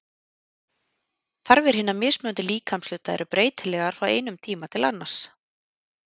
Þarfir hinna mismunandi líkamshluta eru breytilegar frá einum tíma til annars.